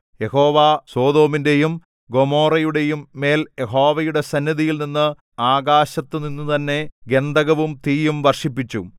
യഹോവ സൊദോമിന്റെയും ഗൊമോറായുടെയും മേൽ യഹോവയുടെ സന്നിധിയിൽനിന്ന് ആകാശത്തു നിന്നുതന്നെ ഗന്ധകവും തീയും വർഷിപ്പിച്ചു